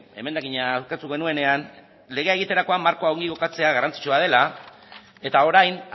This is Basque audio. emendakina aurkeztu genuenean legea egiterakoan markoa ongi kokatzea garrantzitsua dela eta orain